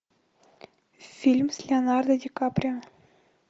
фильм с леонардо ди каприо